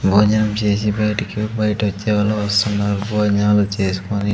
భోజనం చేసి బయటికి బయట వచ్చేవాళ్ళు వస్తున్నారు భోజనాలు చేసుకొని.